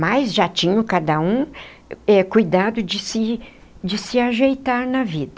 Mas já tinham cada um eh cuidado de se de se ajeitar na vida.